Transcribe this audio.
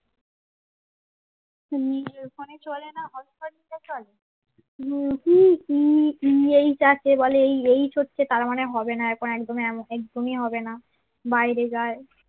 নিজের ফোনে চলেনা হটস্পট দিয়ে চলে উম আহ এইজ হচ্ছে তারমানে এখন হবেনা বাইরে যা